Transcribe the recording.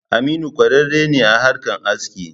Aminu kwarare ne a harkan aski.